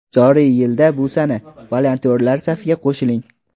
joriy yilda bu sana "Volontyorlar safiga qo‘shiling!"